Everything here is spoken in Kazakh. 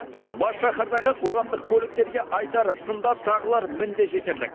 бас шаһардағы қоғамдық көліктерге айтар сын да тағылар мін де жетерлік